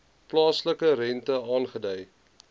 plaaslike rente aangedui